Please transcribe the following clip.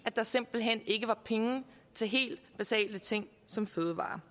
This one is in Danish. der simpelt hen ikke var penge til helt basale ting som fødevarer